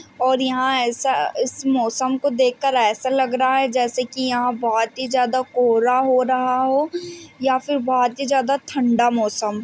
और यहां ऐसा इस मौसम को देख के ऐसा लग रहा है जैसे कि यहां बहोत ही ज्यादा कोहरा हो रहा हो या फिर बहोत ही ज्यादा ठंडा मौसम--